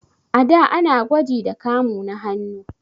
A da ana gwaji da kamu na hannu.